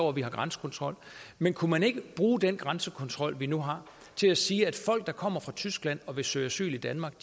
at vi har grænsekontrol men kunne man ikke bruge den grænsekontrol vi nu har til at sige at folk der kommer fra tyskland og vil søge asyl i danmark